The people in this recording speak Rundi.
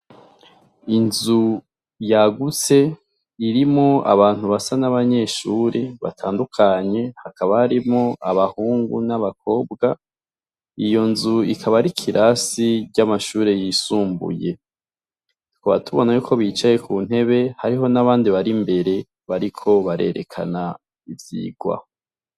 Inzu yagutse irimo abantu basa n'abanyeshuri batandukanye hakaba harimwo abahungu n'abakobwa, iyo nzu ikaba ar'ikirasi ry'amashuri yisumbuye, tukaba tubona yuko bicaye ku ntebe hariho n'abandi bari imbere bariko barerekana ivyigwa.